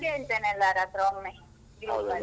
ನಾನ್ ಕೇಳ್ತೇನೆ ಎಲ್ಲರತ್ರ ಒಮ್ಮೆ ಗ್ರೂಪಲ್ಲಿ.